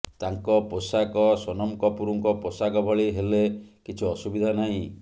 ତାଙ୍କ ପୋଷାକ ସୋନମ କପୁରଙ୍କ ପୋଷାକ ଭଳି ହେଲେ କିଛି ଅସୁବିଧା ନାହିଁ